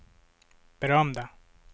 berömda